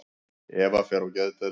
Eva fer á geðdeild.